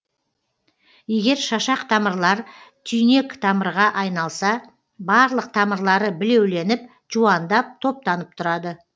егер шашақ тамырлар түйнектамырға айналса барлық тамырлары білеуленіп жуандап топтанып тұрады